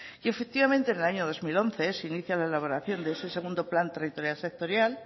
y efectivamente en el año dos mil once se inicia la elaboración de ese segundo plan territorial sectorial